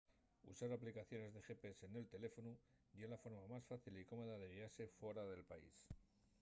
usar aplicaciones de gps nel teléfonu ye la forma más fácil y cómoda de guiase fuera del to país